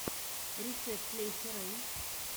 рецепт леся рэй